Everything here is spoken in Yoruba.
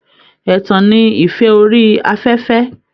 Ẹ̀tàn ni ìfẹ́ orí afẹ́fẹ́